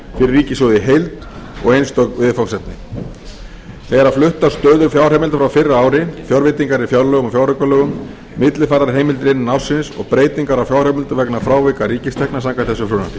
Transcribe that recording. ríkissjóð í heild og einstök viðfangsefni það er fluttar stöður fjárheimilda frá fyrra ári fjárveitingar í fjárlögum og fjáraukalögum millifærðar heimildir innan ársins og breytingar á fjárheimildum vegna frávika ríkistekna samkvæmt þessu frumvarpi